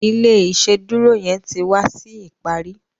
ilé iṣeduro yén tí wá sí ìparí